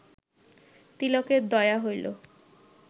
তিলকের দয়া হইল